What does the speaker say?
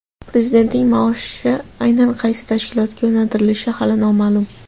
Prezidentning maoshi aynan qaysi tashkilotga yo‘naltirilishi hali noma’lum.